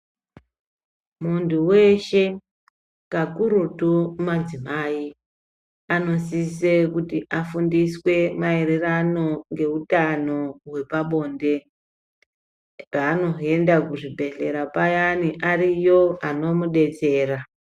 Muntu weshe kakurutu madzimai anosisa kuti vafundiswe marirano ngeutano wepabonde panoenda kuzvibhehlera payani ariyo anomudetsera.